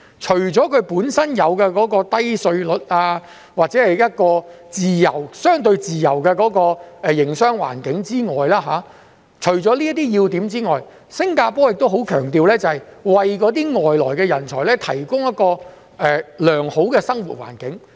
除了它們本身的低稅率及相對自由的營商環境這些要點外，新加坡亦很強調要為外來人才提供良好生活環境。